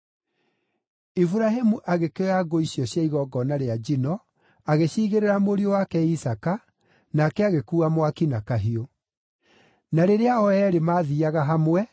Iburahĩmu agĩkĩoya ngũ icio cia igongona rĩa njino, agĩciigĩrĩra mũriũ wake Isaaka, nake agĩkuua mwaki na kahiũ. Na rĩrĩa o eerĩ mathiiaga hamwe,